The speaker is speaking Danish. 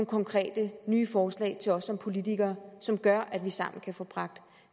konkrete nye forslag til os som politikere som gør at vi sammen kan få bragt